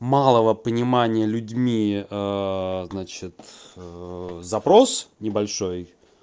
малого понимание людьми значит запрос небольшой